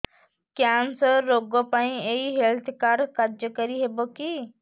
cancer ରୋଗ ପାଇଁ ଏଇ ହେଲ୍ଥ କାର୍ଡ କାର୍ଯ୍ୟକାରି ହେବ କି